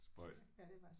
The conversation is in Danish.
Spøjst